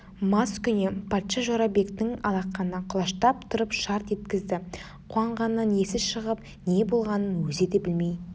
маскүнем патша жорабектің алақанына құлаштап тұрып шарт еткізді қуанғанынан есі шығып не болғанын өзі де білмей